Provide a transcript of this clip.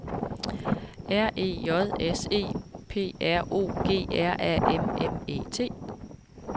R E J S E P R O G R A M M E T